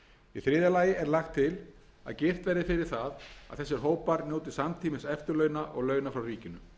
í þriðja lagi er lagt til að girt verði fyrir það að þessir hópar njóti samtímis eftirlauna og launa frá ríkinu er það gert